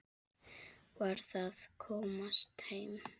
Varð að komast heim.